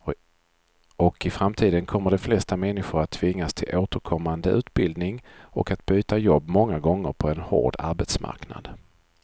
Och i framtiden kommer de flesta människor att tvingas till återkommande utbildning och att byta jobb många gånger på en hård arbetsmarknad.